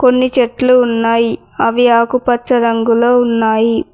కొన్ని చెట్లు ఉన్నాయి అవి ఆకుపచ్చ రంగులో ఉన్నాయి.